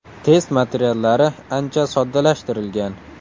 Test materiallari ancha soddalashtirilgan.